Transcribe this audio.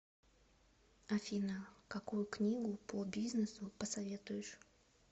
афина какую книгу по бизнесу посоветуешь